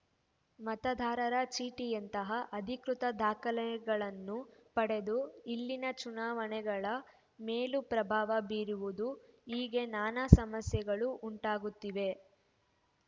ಮತದಾರರ ಚೀಟಿಯಂತಹ ಅಧಿಕೃತ ದಾಖಲೆಗಳನ್ನು ಪಡೆದು ಇಲ್ಲಿನ ಚುನಾವಣೆಗಳ ಮೇಲೂ ಪ್ರಭಾವ ಬೀರುವುದು ಹೀಗೆ ನಾನಾ ಸಮಸ್ಯೆಗಳು ಉಂಟಾಗುತ್ತಿವೆ